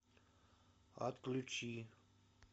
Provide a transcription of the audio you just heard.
отключи